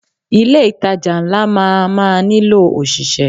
Ilé ìtajà ńlá máa má nílò ọ̀ṣìṣẹ́.